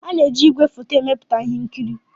A na-eji ígwèfoto emepụta ihe nkiri.